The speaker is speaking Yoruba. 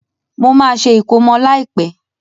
Mo má se ìkómọ láìpẹ́